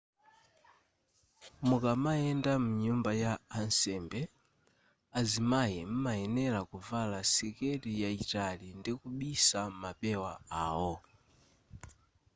mukamayenda mnyumba ya ansembe azimayi m'mayenera kuvala siketi yayitali ndi kubisa mapewa awo